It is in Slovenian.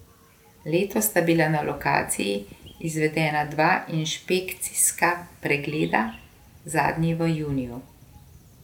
Letos sta bila na lokaciji izvedena dva inšpekcijska pregleda, zadnji v juniju.